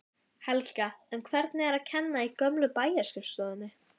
Helga: En hvernig er að kenna í gömlu bæjarskrifstofunni?